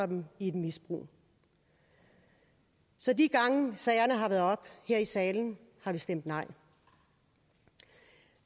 dem i et misbrug så de gange sagerne har været oppe her i salen har vi stemt nej